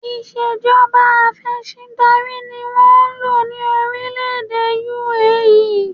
Ìṣèjọba afẹ̀sìndarí ni wọ́n ń lò ní orílẹ̀-èdè UAE